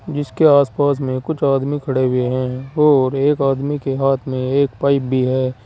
जिसके आसपास में कुछ आदमी खड़े हुए हैं और एक आदमी के हाथ में एक पाइप भी है।